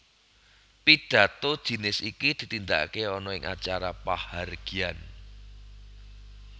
Pidhato jinis iki ditindakaké ana ing acara pahargyan